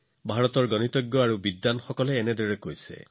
ভাৰতৰ গণিতজ্ঞ আৰু পণ্ডিতসকলে আনকি ইয়াকো লিখিছে যে